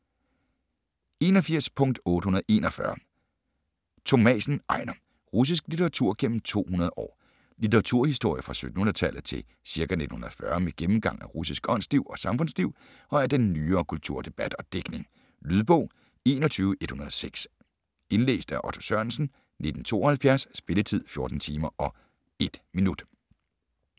81.841 Thomassen, Ejnar: Russisk litteratur gennem 200 år Litteraturhistorie fra 1700-tallet til ca. 1940 med gennemgang af russisk åndsliv og samfundsliv og af den nyere kulturdebat og digtning. Lydbog 21106 Indlæst af Otto Sørensen, 1972. Spilletid: 14 timer, 1 minutter.